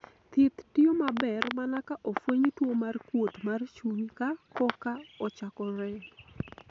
thieth tiyo maber mana ka ofweny tuo mar kuot mar chuny ka koka ochakore